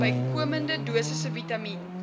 bykomende dosisse vitamien